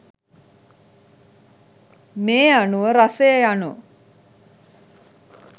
මේ අනුව රසය යනු